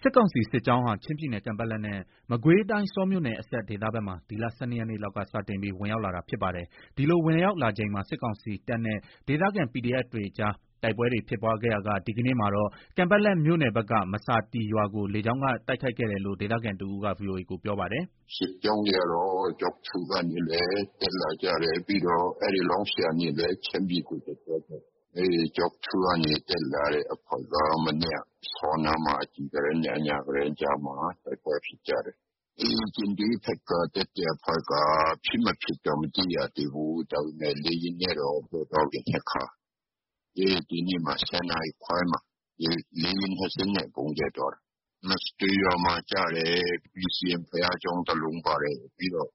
စစ်ကောင်စီ စစ်ကြောင်းဟာ ချင်းပြည်နယ် ကန်ပက်လက် နဲ့ မကွေးတိုင်း ဆောမြို့နယ်အစပ် ဒေသဘက်မှာ ဒီလ ၁၂ ရက်နေ့လောက်က စတင်ပြီး ဝင်ရောက်လာတာ ဖြစ်ပါတယ်။ ဒီလို ဝင်ရောက်လာချိန်မှာ စစ်ကောင်စီတပ်နဲ့ ဒေသခံ PDF တွေအကြား တိုက်ပွဲတွေ ဖြစ်ပွားခဲ့ရာက ဒီကနေ့မှာတော့ ကန်ပက်လက်မြို့နယ်က မဆာတွီ ရွာကို လေကြောင်းက တိုက်ခိုက်ခဲ့တယ်လို့ ဒေသခံတစ်ဦးက VOA ကို ပြောပါတယ်။ “စစ်ကြောင်းတွေ ကတော့ ကျောက်ထု ကနေလည်း တက်လာကြတယ်။ ပြီးတော့ လောင်းရှည် ကနေလည်း ချင်းပြည်ကို တက်သွားကြတယ်။ ကျောက်ထု ကနေ တက်လာတဲ့အဖွဲ့က မနေ့က ဆောနားမှာ အကြည်ကတင်းနဲ့ အညာကတင်း ကြားမှာ တိုက်ပွဲဖြစ်တယ်။ ဒီ ကျင်ဒွေးဘက်က တက်တဲ့အဖွဲ့က ဖြစ်မဖြစ်တော့ မသိရသေးဘူး။ ဒါပေမဲ့ လေယာဉ်နဲ့တော့ ကြဲသွားပြီ ၂ ခါ။ လေယာဉ် ၂ စင်းနဲ့ ဗုံးကြဲသွားတာ။ မဆာတွီရွာမှာ ကျတယ်။ ပီစီအမ် ဘုရားကျောင်း တလုံးပါတယ်။ ပြီးတော့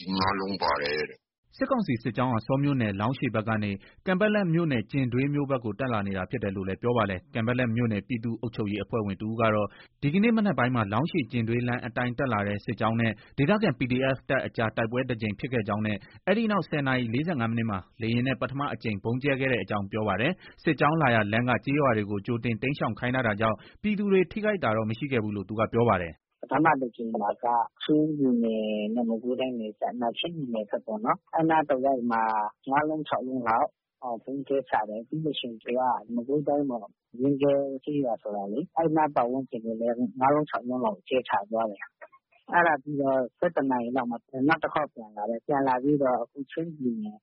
အိမ် ၅ လုံးပါတယ်။” စစ်ကောင်စီ စစ်ကြောင်းဟာ ဆောမြို့နယ် လောင်းရှည်ဘက်ကနေ ကန်ပက်လက်မြို့နယ် ကျင်ဒွေးမြို့ဘက်ကို တက်လာနေတာ ဖြစ်တယ်လို့လည်း ပြောပါတယ်။ ကန်ပက်လက်မြို့နယ် ပြည်သူ့ အုပ်ချုပ်ရေးအဖွဲ့ဝင် တဦးကတော့ ဒီကနေ့ မနက်ပိုင်းမှာ လောင်းရှည်- ကျင်ဒွေးလမ်း အတိုင်း တက်လာတဲ့ စစ်ကြောင်းနဲ့ ဒေသခံ PDF တပ်အကြား တိုက်ပွဲတကြိမ် ဖြစ်ခဲ့ကြောင်းနဲ့ အဲဒီနောက် ၁၀ နာရီ ၄၅ မိနစ်မှာ လေယာဉ်နဲ့ ပထမအကြိမ် ဗုံးကြဲခဲ့ကြောင်း ပြောပါတယ်။ စစ်ကြောင်း လာရာလမ်းက ကျေးရွာတွေကို ကြိုတင် တိမ်းရှောင် ခိုင်းထားတာကြောင့် ပြည်သူတွေ ထိခိုက်တာတော့ မရှိခဲ့ဘူးလို့ သူက ပြောပါတယ်။ “ပထမတကြိမ်မှာက ချင်းပြည်နယ်နဲ့ မကွေးတိုင်းနယ်စပ်၊ ချင်းပြည်နယ်ဘက်ပေါ့နော်။ အဲဒီနားတဝိုက်မှာ ၅ လုံး၊ ၆ လုံးလောက် ဗုံးကြဲချတယ်။ ပြီးလို့ရှိရင် သူက မကွေးတိုင်းပေါ့။ ရင်းကဲကျေးရွာ ဆိုတာလေ။ အဲဒီနား ပတ်ဝန်းကျင်ကိုလည်း ၅ လုံး၊ ၆ လုံးလောက် ကြဲချသွားတယ်။ အဲဒါပြီးတော့ ၁၁ နာရီ လောက်မှာ နောက်တခေါက် ပြန်လာတယ်။ ပြန်လာပြီးတော့ အခု ချင်းပြည်နယ်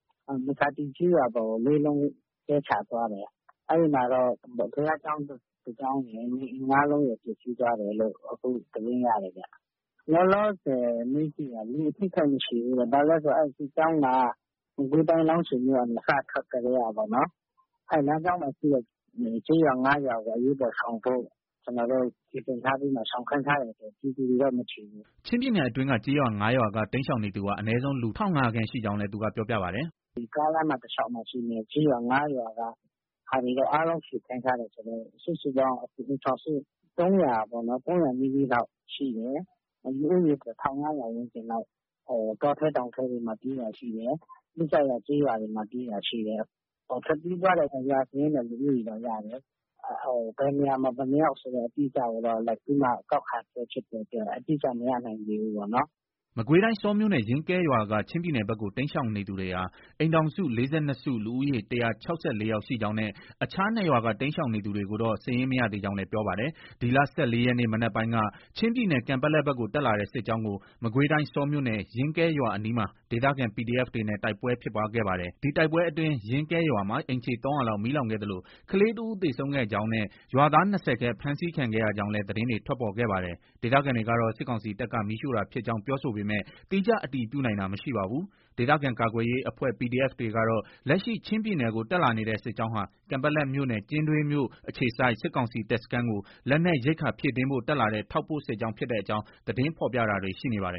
မဆာတွီ ကျေးရွာပေါ်ကို ၄ လုံး ကြဲချသွားတယ်။ အဲဒီမှာတော့ ဘုရားကျောင်း တကျောင်းရယ်။ နေအိမ် ၅ လုံးရယ် ပျက်ဆီးသွားတယ်လို့ သတင်းရတယ်ဗျ။ လောလောဆယ် မေးကြည့်တာ လူအထိအခိုက် မရှိဘူးတဲ့။ ဘာလို့လဲဆို စစ်ကြောင်းက မကွေးတိုင်း လောင်းရှည်မြို့ကနေ စထွက်ကတည်းက လမ်းကြောင်းမှာ ရှိတဲ့ ကျေးရွာ ၅ ရွာကို အရေးပေါ် ရှောင်ဖို့ စီစဉ်ထားပြီးမှ ရှောင်ခိုင်းထားတဲ့ အတွက် ပြည်သူတွေတော့ မထိဘူးပေါ့။” ချင်းပြည်နယ်အတွင်းက ကျေးရွာ ၅ ရွာက တိမ်းရှောင်နေသူဟာ အနည်းဆုံး လူ ၁,၅၀၀ ခန့်ရှိကြောင်းလည်း သူက ပြောပြပါတယ်။ “ဒီ ကားလမ်းမှာရှိတဲ့ ကျေးရွာ ၅ ရွာက ဟာတွေကိုတော့ အားလုံး ရွှေ့ခိုင်းထားတယ်ဆိုတော့ စုစုပေါင်း အိမ်ထောင်စု ၃၀၀ နီးနီးလောက် ရှိတယ်။ လူဦးရေ ၁၅၀၀ ဝန်းကျင်လောက် တောထဲတောင်ထဲတွေမှာ ပြေးတာရှိတယ်။ နီးစပ်ရာ ကျေးရွာတွေမှာ ပြေးတာရှိတယ်။ ထွက်ပြေးသွားတဲ့ ရွာစာရင်းနဲ့ လူဦးရေတော့ ရတယ်။ ဘယ်နေရာမှာ ဘယ်နှစ်ယောက် ဆိုတာကိုတော့ လိုက်ပြီးတော့မှ ကောက်ခံနေဆဲဆိုတော့ အတိအကျတော့ မရသေးဘူးပေါ့နော်။” မကွေးတိုင်း ဆောမြို့နယ် ရင်းကဲရွာက ချင်းပြည်နယ်ဘက်ကို တိမ်းရှောင်နေသူဟာ အိမ်ထောင်စု ၄၂ စု၊ လူဦးရေ ၁၆၄ ယောက် ရှိကြောင်းနဲ့ အခြား ၂ ရွာက တိမ်းရှောင်နေသူတွေကိုတော့ စာရင်း မရသေးကြောင်းလည်း ပြောပါတယ်။ ဒီလ ၁၄ ရက်နေ့ မနက်ပိုင်းက ချင်းပြည်နယ် ကန်ပက်လက်ဘက်ကို တက်လာတဲ့ စစ်ကြောင်းကို မကွေးတိုင်း ဆောမြို့နယ် ရင်းကဲရွာအနီးမှာ ဒေသခံ PDF တွေနဲ့ တိုက်ပွဲ ဖြစ်ပွားခဲ့ပါတယ်။ ဒီတိုက်ပွဲအတွင်း ရင်းကဲရွာမှာ အိမ်ခြေ ၃၀၀ လောက် မီးလောင်ခဲ့သလို ကလေးတဦး သေဆုံးခဲ့ကြောင်း နဲ့ ရွာသား ၂၀ ခန့် ဖမ်းဆီးခံခဲ့ရကြောင်းလည်း သတင်းတွေ ထွက်ပေါ်ခဲ့ပါတယ်။ ဒေသခံတွေ ကတော့ စစ်ကောင်စီတပ်က မီးရှို့တာ ဖြစ်ကြောင်း ပြောဆိုပေမဲ့ သီးခြား အတည်ပြုနိုင်တာ မရှိပါဘူး။ ဒေသခံ ကာကွယ်ရေးအဖွဲ့ PDF တွေကတော့ လက်ရှိ ချင်းပြည်နယ်ကို တက်လာနေတဲ့ စစ်ကြောင်းဟာ ကန်ပက်လက်မြို့နယ် ကျင်ဒွေးမြို့ အခြေစိုက် စစ်ကောင်စီ တပ်စခန်းကို လက်နက်၊ ရိက္ခာဖြည့်တင်းဖို့ တက်လာတဲ့ ထောက်ပို့ စစ်ကြောင်း ဖြစ်တဲ့အကြောင်း သတင်း ဖော်ပြတာတွေ ရှိနေပါတယ်